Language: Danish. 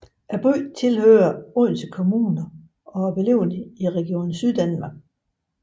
Byen tilhører Odense Kommune og er beliggende i Region Syddanmark